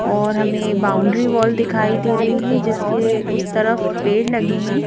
और हमें boundary wall दिखाई दे रही है जिसके उस तरफ पेड़ लगे हैं।